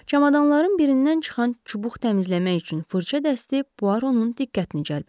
Çamadanların birindən çıxan çubuq təmizləmək üçün fırça dəsti Puaronun diqqətini cəlb elədi.